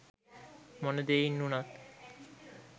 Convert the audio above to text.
මොන දෙයින් උනත්